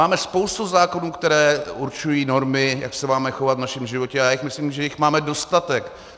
Máme spoustu zákonů, které určují normy, jak se máme chovat v našem životě, a já si myslím, že jich máme dostatek.